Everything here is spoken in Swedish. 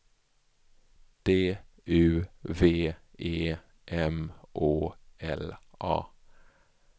D U V E M Å L A